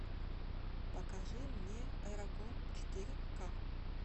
покажи мне эрагон четыре ка